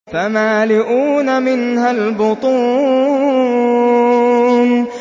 فَمَالِئُونَ مِنْهَا الْبُطُونَ